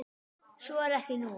Svo er ekki nú.